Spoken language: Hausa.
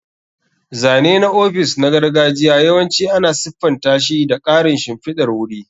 Zane na ofis na gargajiya yawanci ana siffanta shi da ƙarin shimfidar wuri.